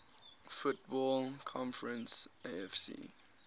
football conference afc